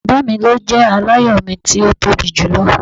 Baba mi lo jẹ alayọ mi ti o tobi julọ.